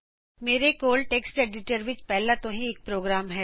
ਮੇਰੇ ਕੋਲ text editor ਵਿੱਚ ਪਹਿੱਲਾ ਤੋ ਹੀ ਇਕ ਪ੍ਰੋਗਰਾਮ ਹੈ